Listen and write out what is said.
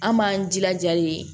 An b'an jilaja de